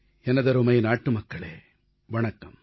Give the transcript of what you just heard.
எனதருமை நாட்டுமக்களே வணக்கம்